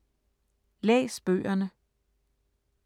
Læs bøgerne